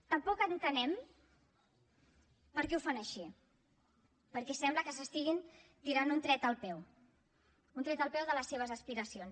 tampoc entenem per què ho fan així perquè sembla que s’estiguin tirant un tret al peu un tret al peu de les seves aspiracions